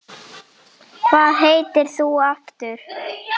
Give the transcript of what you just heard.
Hvað heitir þú aftur?